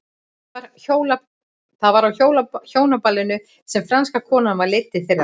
Það var á hjónaballinu sem franska konan var leidd til þeirra.